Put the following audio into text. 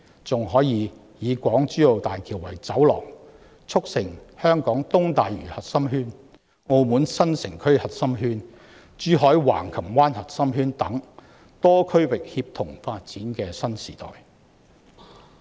此外，港珠澳大橋可作為走廊，促成香港東大嶼核心圈、澳門新城區核心圈、珠海橫琴灣核心圈等多區域協同發展的新時代。